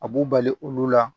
A b'u bali olu la